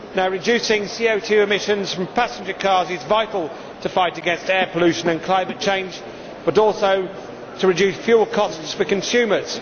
Reducing CO 2 emissions from passenger cars is vital to fight against air pollution and climate change and also to reduce fuel costs for consumers.